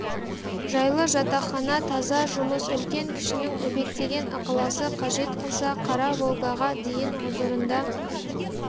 жайлы жатақхана таза жұмыс үлкен-кішінің өбектеген ықыласы қажет қылса қара волгаға дейін ғұзырында